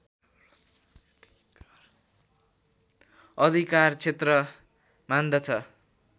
अधिकार क्षेत्र मान्दछ